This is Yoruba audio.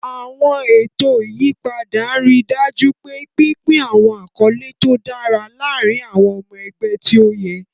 Àwọn ètò ìyípadà ń rí i dájú pé pínpín àwọn àkọlé tó dára láàárín àwọn ọmọ ẹgbẹ́ tí ó yẹ.